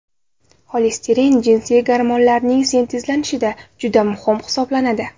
Xolesterin jinsiy gormonlarning sintezlanishida juda muhim hisoblanadi.